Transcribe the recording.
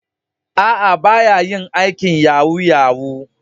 Aa, ba ya yin aikin yahoo -yahoo.